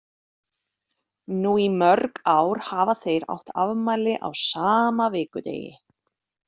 Nú í mörg ár hafa þeir átt afmæli á sama vikudegi.